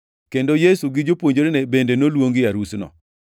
kendo Yesu gi jopuonjrene bende noluongi e arusno.